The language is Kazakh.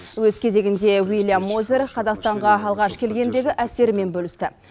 өз кезегінде уильям мозер қазақстанға алғаш келгендегі әсерімен бөлісті